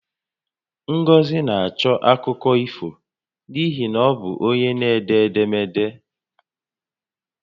Ngozi na-achọ akụkọ ifo n'ihi na ọ bụ onye n'ede edemede